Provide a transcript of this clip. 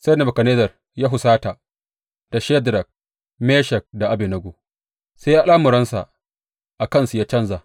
Sai Nebukadnezzar ya husata da Shadrak, Meshak da Abednego, sai al’amuransa a kansu ya canja.